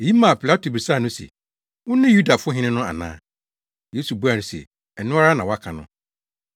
Eyi maa Pilato bisaa no se, “Wone Yudafo hene no ana?” Yesu buaa no se, “Ɛno ara na woaka no.”